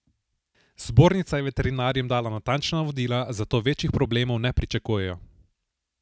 Zbornica je veterinarjem dala natančna navodila, zato večjih problemov ne pričakujejo.